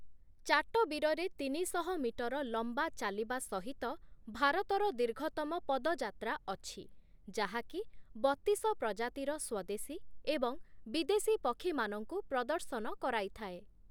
ଚାଟବୀରରେ ତିନିଶହ ମିଟର ଲମ୍ୱା ଚାଲିବା ସହିତ ଭାରତର ଦୀର୍ଘତମ ପଦଯାତ୍ରା ଅଛି, ଯାହାକି ବତିସ ପ୍ରଜାତିର ସ୍ୱଦେଶୀ ଏବଂ ବିଦେଶୀ ପକ୍ଷୀମାନଙ୍କୁ ପ୍ରଦର୍ଶନ କରାଇଥାଏ ।